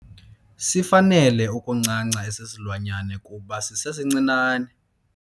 Sifanele ukuncanca esi silwanyana kuba sisesincinane.